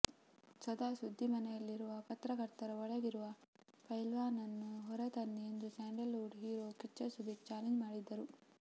ಸದಾ ಸುದ್ದಿ ಮನೆಯಲ್ಲಿರುವ ಪತ್ರಕರ್ತರ ಒಳಗಿರುವ ಪೈಲ್ವಾನನ್ನು ಹೊರ ತನ್ನಿ ಎಂದು Sandalwood hero Kichcha Sudeep challenge ಮಾಡಿದ್ದರು